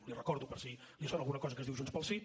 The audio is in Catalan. li ho recordo per si li sona alguna cosa que es diu junts pel sí